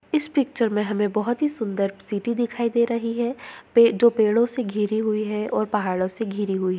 इस पिक्चर में हमे बहुत ही सुन्दर सिटी दिखाई दे रही है। पे जो पेड़ों से घिरी हुए है और पहाड़ों से घेरी हुई--